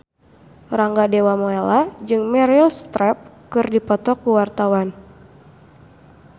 Rangga Dewamoela jeung Meryl Streep keur dipoto ku wartawan